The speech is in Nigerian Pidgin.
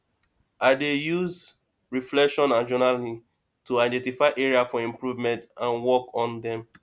i dey use reflection and journaling to identify areas for improvement and work on dem